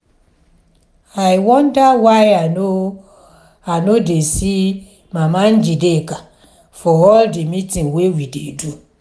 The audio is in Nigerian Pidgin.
i wonder why i no i no dey see mama njideka for all the meeting we dey do